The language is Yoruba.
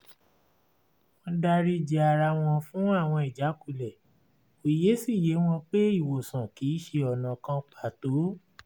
wọ́n dárí ji ara wọn fún àwọn ìjákulẹ̀ òye sì yé wọn pé ìwòsàn kì í ṣe ọ̀nà kan pàtó